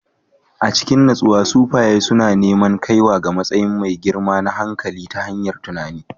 A cikin natsuwa, sufaye suna neman kaiwa ga matsayi mai girma na hankali ta hanyar tunani